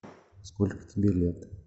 сколько тебе лет